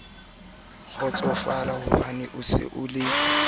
kgotso le eo molekane wa